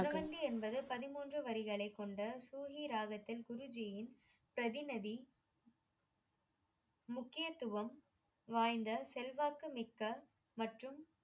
குணவந்தி என்பது பதிமூன்று வரிகளை கொண்ட சூகி ராகத்தின் குருஜியின் பிரதிநதி முக்கியத்துவம் வாய்ந்த செல்வாக்கு மிக்க மற்றும்